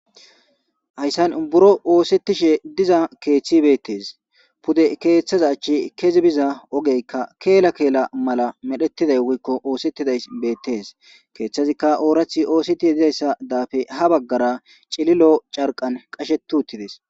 Hayssan buro oosetishe diza keeththe besses. Pude keeththeza achche kezi biza keela keela malay woykko oosetidays beettes. Keeththezikka ooraththi oosetishe dizaysa daape ha baggara cililo carqqan qasheti uttides.